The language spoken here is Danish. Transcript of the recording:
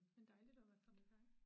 Men dejligt at være kommet her